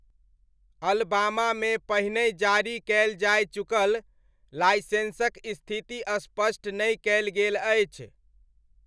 अलबामामे पहिनहि जारी कयल जाय चुकल लाइसेन्सक स्थिति स्पष्ट नहि कयल गेल अछि।